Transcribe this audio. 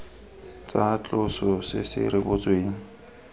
tsa tloso se se rebotsweng